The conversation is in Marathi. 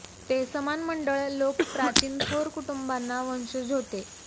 ते समान मंडळ लोक प्राचीन थोर कुटुंबांना वंशज होते